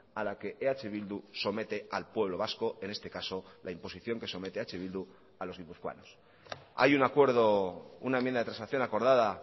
a la que eh bildu somete al pueblo vasco en este caso la imposición que somete eh bildu a los guipuzcoanos hay un acuerdo una enmienda de transacción acordada